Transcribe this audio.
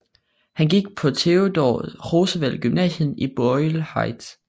Han gik på Theodore Roosevelt gymnasium i Boyle Heights